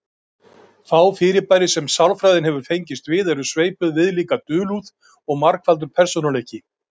Fá fyrirbæri sem sálfræðin hefur fengist við eru sveipuð viðlíka dulúð og margfaldur persónuleiki.